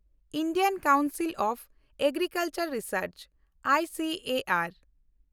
Indian council of agricultural research (I C A R)